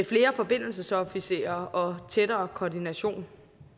flere forbindelsesofficerer og tættere koordination